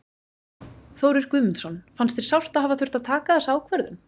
Þórir Guðmundsson: Fannst þér sárt að hafa þurft að taka þessa ákvörðun?